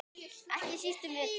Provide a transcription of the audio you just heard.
Ekki síst um vetur.